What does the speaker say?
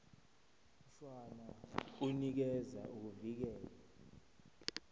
mshwana unikeza ukuvikelwa